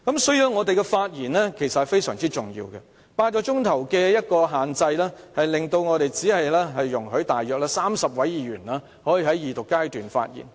所以，我們的發言非常重要 ，8 小時的發言時限令只有約30位議員可以在二讀辯論時發言。